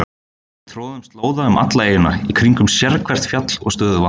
Við troðum slóða um alla eyjuna, í kringum sérhvert fjall og stöðuvatn.